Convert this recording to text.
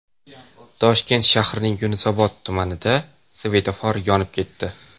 Toshkent shahrining Yunusobod tumanida svetofor yonib ketdi .